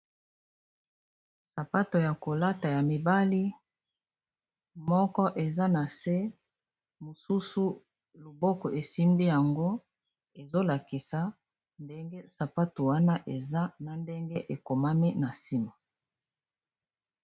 Sapato ya kolata ya mibali moko eza na se, mosusu loboko esimbi yango ezolakisa ndenge sapato wana eza na ndenge ekomami na nsim